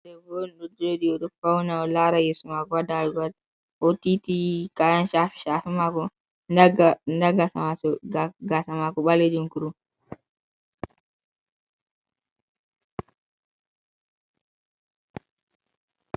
Ɗbbo on ɗo joɗi oɗo fawna oɗo laara yesomako. Ha ɗalugol. Oɗo tiiti kayan shafe-shafe mako. nɗa gasa mako gaasamako balejum kurum.